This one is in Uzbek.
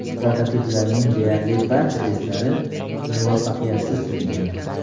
Prototiplarning deyarli barcha testlari muvaffaqiyatsiz tugagan.